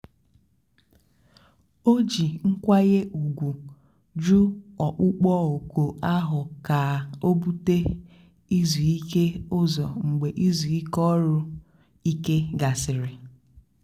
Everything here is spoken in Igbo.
ó jí nkwányè ùgwù jụ́ ọ̀kpụ́kpọ́ òkù áhụ̀ kà ó búté ízú íké ụ́zọ̀ mgbe ízú ọ́rụ̀-íké gàsị̀rị́.